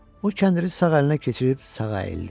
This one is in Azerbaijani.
O kəndiri sağ əlinə keçirib sağa əyildi.